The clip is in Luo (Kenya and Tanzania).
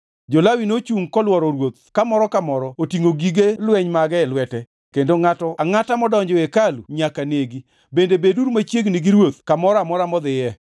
Jo-Lawi nochungʼ kolworo ruoth ka moro ka moro otingʼo gige lweny mage e lwete kendo ngʼato angʼata modonjo e hekalu nyaka negi, bende beduru machiegni gi ruoth kamoro amora modhiye.”